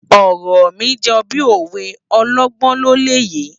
Òrò mi jò bi ówé òlògbòn ló lè yé